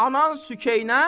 Anan Sükeynə.